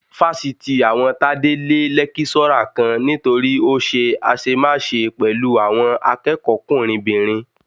Fásitì àwọn Tádé lé lẹ́kíṣọ́rà kan nítorí ó ṣe àṣemáṣe pẹ̀lú àwọn akẹ́kọ̀ọ́kùnrinbìnrin